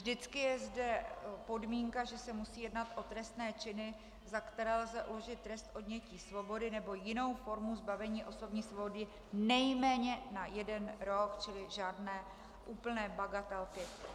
Vždycky je zde podmínka, že se musí jednat o trestné činy, za které lze uložit trest odnětí svobody nebo jinou formu zbavení osobní svobody nejméně na jeden rok, čili žádné úplné bagatelky.